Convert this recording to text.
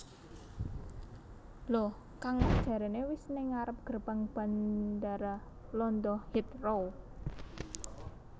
Lho kang mas jarene wis ning ngarep gerbang Bandara Londo Heathrow